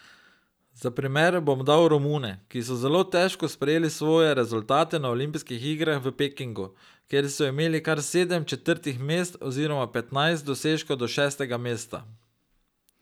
Za primer bom dal Romune, ki so zelo težko sprejeli svoje rezultate na olimpijskih igrah v Pekingu, kjer so imeli kar sedem četrtih mest oziroma petnajst dosežkov do šestega mesta.